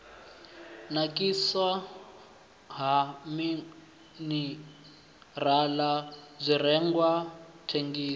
nakiswa ha minirala zwirengwa thengiso